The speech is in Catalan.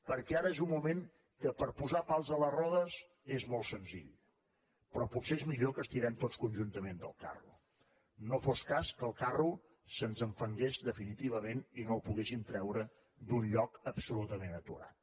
perquè ara és un moment que per posar pals a la rodes és molt senzill però potser és millor que estirem tots conjuntament del carro no fos cas que el carro se’ns enfangués definitivament i que no el poguéssim treure d’un lloc absolutament aturat